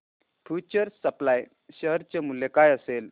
future supply share चे मूल्य काय असेल